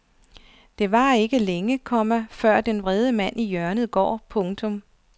Det varer ikke længe, komma før den vrede mand i hjørnet går. punktum